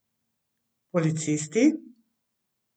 Policisti?